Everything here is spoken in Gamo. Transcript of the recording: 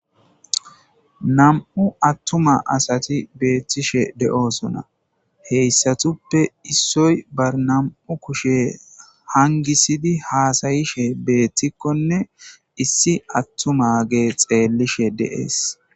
Nam'u attuma asati beettishe de'oosona heyssatuppe issoy barnam'u kushe hangisidi haasayishe beettikkonne issi attuma gee xeellishe de'ees.